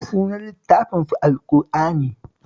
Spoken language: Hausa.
Sunan littafinsu Al-ƙur'ani